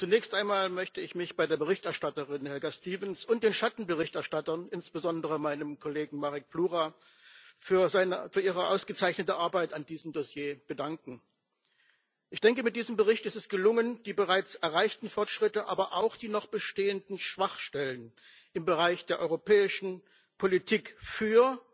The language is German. Zunächst einmal möchte ich mich bei der Berichterstatterin Helga Stevens und den Schattenberichterstattern, insbesondere meinem Kollegen Marek Plura, für ihre ausgezeichnete Arbeit an diesem Dossier bedanken. Ich denke, mit diesem Bericht ist es gelungen, die bereits erreichten Fortschritte, aber auch die noch bestehenden Schwachstellen im Bereich der europäischen Politik für